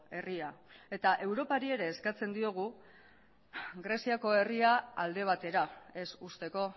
herria eta europari ere eskatzen diogu greziako herria alde batera ez uzteko